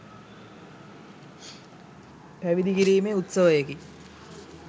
පැවිදි කිරීමේ උත්සවයකි.